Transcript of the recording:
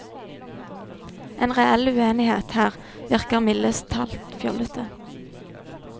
En reell uenighet her virker mildest talt fjollete.